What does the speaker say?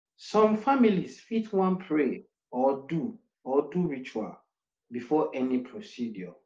some families fit wan pray or do or do ritual before any procedure